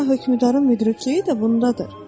Zira hökmdarın müdrikliyi də bundadır.